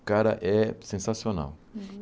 O cara é sensacional. Uhum